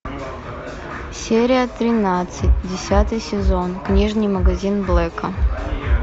серия тринадцать десятый сезон книжный магазин блэка